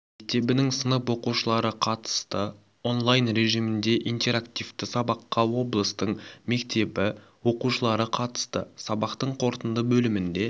мектебінің сынып оқушылары қатысты он-лайн режимінде интерактивті сабаққа облыстың мектебі оқушылары қатысты сабақтың қорытынды бөлімінде